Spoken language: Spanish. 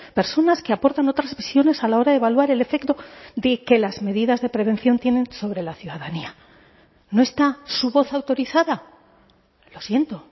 personas que aportan otras visiones a la hora de evaluar el efecto de que las medidas de prevención tienen sobre la ciudadanía no está su voz autorizada lo siento